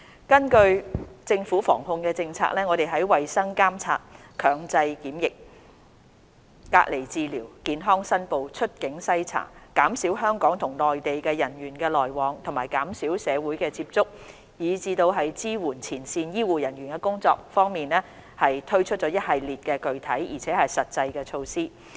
根據政府防控策略，我們在衞生監察、強制檢疫、隔離治療、健康申報、出境篩查、減少香港與內地人員往來、減少社會接觸，以及支援前線醫護人員的工作等方面，推出了一系列具體而實際的措施。